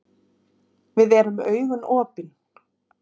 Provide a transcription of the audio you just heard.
Við erum með augun opin.